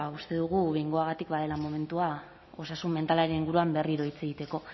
uste dugu behingoagatik badela momentua osasun mentalaren inguruan berriro hitz egiteko